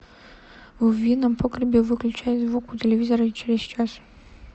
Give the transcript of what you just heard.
в винном погребе выключай звук у телевизора через час